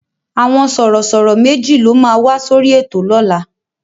Àwọn Sọ̀rọ̀ṣọ̀rọ̀ méjì ló máa wá sórí ètò lọ́la